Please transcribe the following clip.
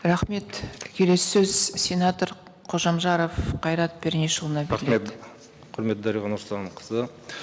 рахмет келесі сөз сенатор қожамжаров қайрат пернешұлына рахмет құрметті дариға нұрсұлтанқызы